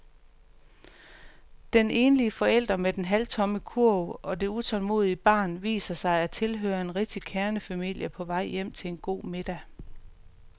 Den enlige forælder med den halvtomme kurv og det utålmodige barn viser sig at tilhøre en rigtig kernefamilie på vej hjem til en god middag.